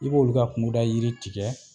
I b'olu ka kungoda yiri tigɛ